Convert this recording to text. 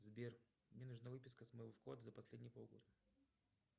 сбер мне нужна выписка с моего вклада за последние полгода